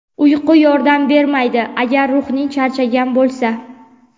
Uyqu yordam bermaydi agar ruhing charchagan bo‘lsa.